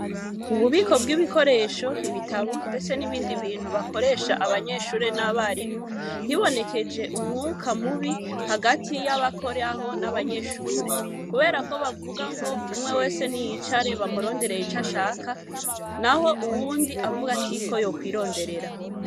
Ububiko bw'ibikoresho, ibitabo, ndetse n'ibindi bintu bakoresha abanyeshure n'abarimu, hibonekeje umwuka mubi hagati y'abakora aho n'abanyeshure, kubera ko bavuga ngo umwe wese ni yicare bamuronderere ico ashaka, naho uwundi avuga ati ko yokwironderera.